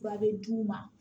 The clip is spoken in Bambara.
Fura bɛ d'u ma